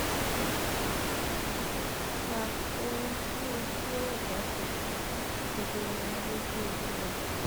sa ohun tí ojú ẹdá kó tó kedere ní lójú olúwa